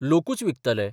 लोकूच विकतले.